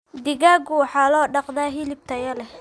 Digaagga waxaa loo dhaqdaa hilib tayo leh.